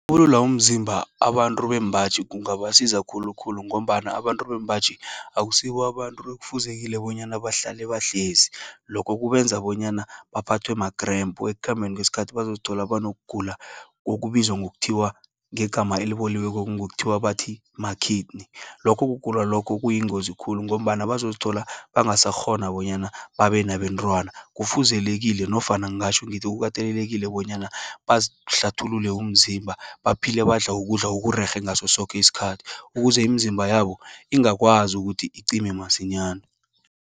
Ukulula umzimba, abantu bembaji kungabasiza khulukhulu, ngombana abantu bembaji, akusibo abantu ekufuzekile bonyana bahlale bahlezi. Lokho kubenza bonyana baphathwe ma-cramp, ekukhambeni kweskhathi, bazozithola banokugula okubizwa ngokuthiwa, ngegama eliboliweko ngokuthiwa bathi ma-kidney. Lokho kugula lokho kuyingozi khulu, ngombana bazozithola bangasakghona bonyana babenabentwana. Kufuzelekile nofana ngatjho ngithi kukatelelekile bonyana bazihlathulule umzimba, baphile badla ukudla okurerhe, ngasosoke iskhathi, ukuze imizimba yabo ingakwazi ukuthi icime masinyana.